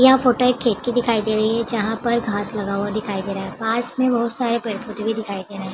यह फोटो एक खेत की दिखाई दे रही है जहाँ पर घांस लगा हुआ दिखाई दे रहा है पास में बहुत सारे पेड़-पौधे भी दिखाई दे रहें हैं।